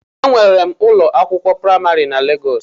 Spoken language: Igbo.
Enwere m ụlọ akwụkwọ praimarị na Legọs